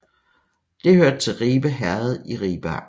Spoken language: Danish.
Det hørte til Ribe Herred i Ribe Amt